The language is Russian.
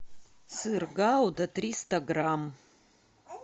сыр гауда триста грамм